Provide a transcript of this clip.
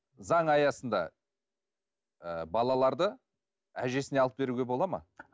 заң аясында ы балаларды әжесіне алып беруге болады ма